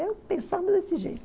Eu pensava desse jeito.